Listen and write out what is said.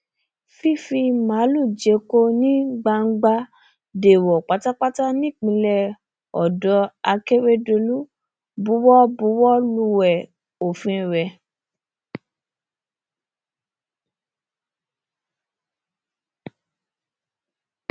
fífi máàlùú jẹko ní gbangba dẹẹwò pátápátá nípínlẹ ọdọ akérèdọlù buwọ buwọ lúwẹ òfin rẹ